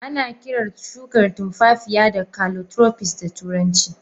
Ana kirar Shukan tunfafiya da calotropist da turanci.